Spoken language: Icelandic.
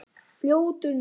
Fljótur nú!